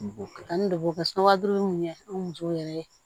Ka taa ni dɔgɔ kɛ sura duuru mun ye an musow yɛrɛ ye